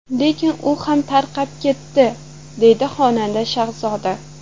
Lekin u ham tarqab ketdi”, deydi xonanda Shahzoda.